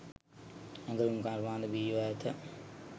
ඇඟලුම් කර්මාන්ත බිහිව ඇත